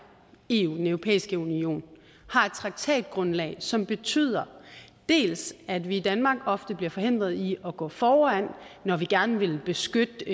eu den europæiske union har et traktatgrundlag som betyder at vi i danmark ofte bliver forhindret i at gå foran når vi gerne vil beskytte